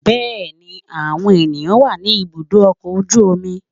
Bẹ́ẹ̀ni, àwọn èèyàn wà ní ibùdó ọkọ̀ ojú omi